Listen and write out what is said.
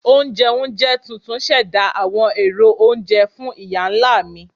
Onjẹunjẹ tuntun ṣẹda awọn ero ounjẹ fun iya-nla mi.